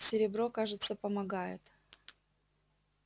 серебро кажется помогает